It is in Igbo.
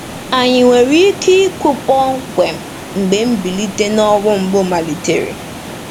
Ànyị nwere ike ikwu kpọmkwem mgbe mbilite n'ọnwụ mbụ malitere?